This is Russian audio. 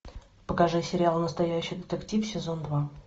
покажи сериал настоящий детектив сезон два